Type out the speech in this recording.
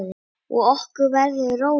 Og okkur verður rórra.